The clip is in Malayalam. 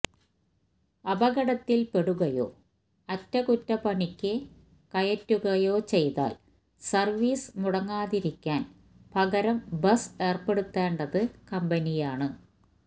അപകടത്തിൽ പെടുകയോ അറ്റകുറ്റപ്പണിക്ക് കയറ്റുകയോ ചെയ്താൽ സർവീസ് മുടങ്ങാതിരിക്കാൻ പകരം ബസ് ഏർപ്പെടുത്തേണ്ടത് കമ്പനിയാണ്